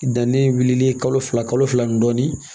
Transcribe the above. Danni wulilen kalo fila kalo fila ni dɔɔnin